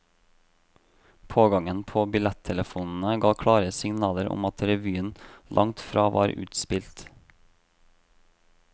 Pågangen på billettelefonene ga klare signaler om at revyen langt fra var utspilt.